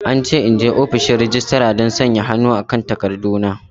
An ce in je ofishin registra don sanya hannu kan takarduna.